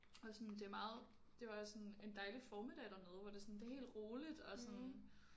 Og sådan det er meget det var sådan en dejlig formiddag dernede hvor det sådan det er helt roligt og sådan